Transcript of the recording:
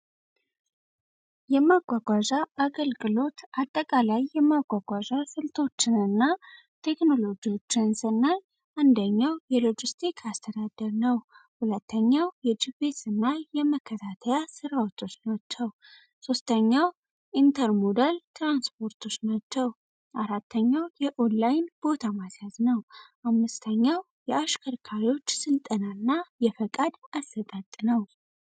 የማጓጓዣ አገልቅሎት አጠቃ ላይ የማጓጓዣ ስልቶችን እና ቴክኖሎጂዎችንስ እና አንደኛው የሎጂስቲክ አስተዳደር ነው ሁለተኛው የጂቤስ እናይ የመከታተያ ሥራዎቶች ናቸው ሦስተኛው ኢንተርሞዳል ትራንስፖርቶች ናቸው አራተኛው የዖንላይን ቦታ ማስያዝ ነው አምስተኛው የአሽከርካሪዎች ስልጠና እና የፈቃድ አስደጥ ነው።